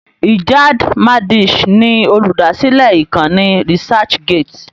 Ijad Madisch ni olùdásílẹ̀ ìkànnì researchgate.